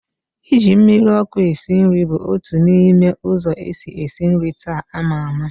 Ị ji mmiri ọkụ esi nri bụ otu n'ime ụzọ esi esi nri taa a maa ama